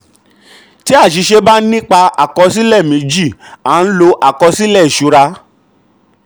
tí àṣìṣe bá nípa àkọsílẹ méjì a n lo àkọsílẹ ìṣura.